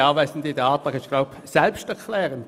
Der Antrag ist, wie ich glaube, selbsterklärend: